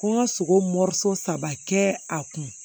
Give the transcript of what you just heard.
Ko n ka sogo saba kɛ a kun